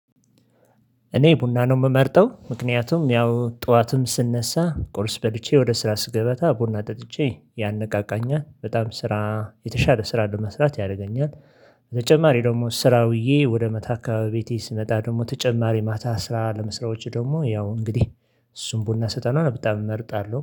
እኔ ቡና ነው የምመርጠው ምክንያቱም ያው ጡዋትም ስነሳ ቁርስ በልቼ ወደ ስራ ስገበታ ቡና ጠጥቼ ያነቃቃኛል። በጣም ስራ የተሻለ ስራ ለመስራት ያረገኛል። በተጨማሪ ደግሞ ስራ ውዬ ወደ መታ አካበቢ ቤቴ ስመጣ ደግሞ ተጨማሪ ማታ ስራ ለመስራዎች ደግሞ ያው እንግዲህ እሱን ቡና ስጠና በጣም እመርጣለው።